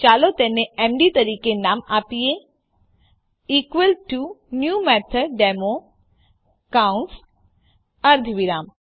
ચાલો તેને એમડી તરીકે નામ આપીએ ઇકવલ ટુ ન્યૂ મેથોડેમો કૌંસ અર્ધવિરામ